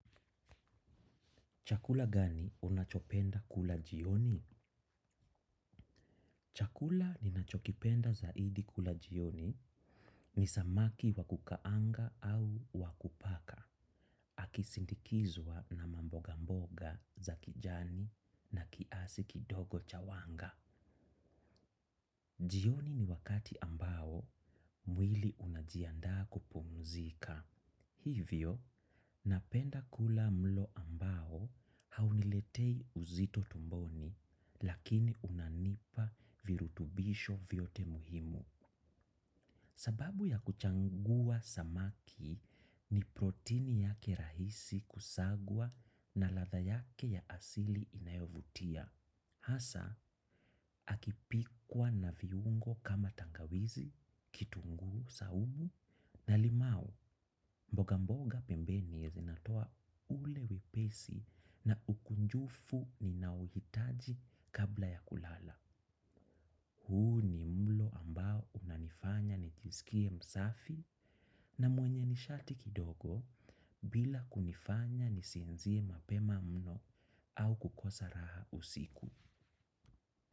Chakula gani unachopenda kula jioni? Chakula ninachokipenda zaidi kula jioni, nisamaki wakukaanga au wakupaka, akisindikizwa na mboga mboga za kijani na kiasi kidogo chawanga. Jioni ni wakati ambao, mwili unajianda kupumuzika. Hivyo, napenda kula mlo ambao hauniletei uzito tumboni, lakini unanipa virutubisho vyote muhimu. Sababu ya kuchangua samaki ni protini yake rahisi kusagwa na latha yake ya asili inayovutia. Hasa, akipikwa na viungo kama tangawizi, kitungu, saumu, na limau, mboga mboga pembeni ya zinatoa ulewe pesi na ukunjufu ni nauhitaji kabla ya kulala. Huu ni mlo ambao unanifanya nijizikie msafi na mwenye nishati kidogo bila kunifanya nisienzie mapema mno au kukosa raha usiku.